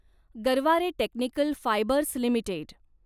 Garware technical fibres limited